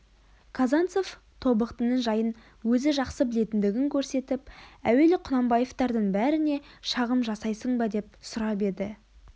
казанцев тобықтының жайын өзі жақсы білетіндігін көрсетіп әуелі құнанбаевтардың бәріне шағым жасайсың ба деп сұрап еді